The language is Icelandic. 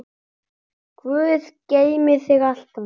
Guð geymi þig alltaf.